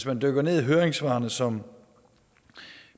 man dykker ned i høringssvarene som